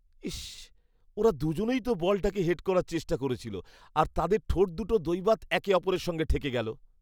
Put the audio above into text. ইস্‌! ওরা দুজনেই তো বলটাকে হেড করার চেষ্টা করছিল আর তাদের ঠোঁটদুটো দৈবাৎ একে অপরের সঙ্গে ঠেকে গেল।